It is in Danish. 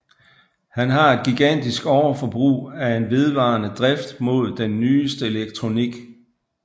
Han har et gigantisk overforbrug af og en vedvarende drift mod den nyeste elektronik